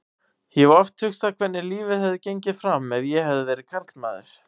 Ég hef oft hugsað hvernig lífið hefði gengið fram ef ég hefði verið karlmaður.